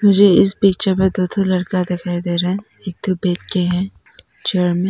मुझे इस पिक्चर में दो ठो लड़का दिखाई दे रहे है। एक ठो बैठ के है चेयर में।